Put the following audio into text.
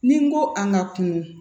Ni n ko a ka kunun